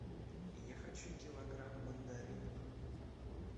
я хочу килограмм мандаринов